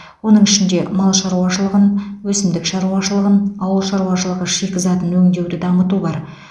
оның ішінде мал шаруашылығын өсімдік шаруашылығын ауыл шаруашылығы шикізатын өңдеуді дамыту бар